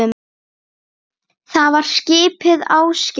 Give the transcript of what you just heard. Það var skipið Ásgeir